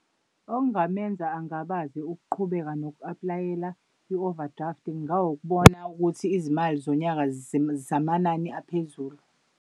Okungamenza angabaze ukuqhubeka noku-aplayela i-overdraft kungawukubona ukuthi izimali zonyaka zamanani aphezulu.